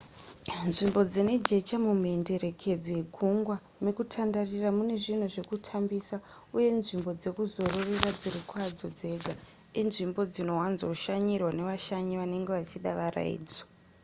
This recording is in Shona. nzvimbo dzine jecha mumhenderekedzo yegungwa mekutandarira mune zvinhu zvekutambisa uye nzvimbo dzekuzororera dziri kwadzo dzega inzvimbo dzinowanzoshanyirwa nevashanyi vanenge vachida varayidzo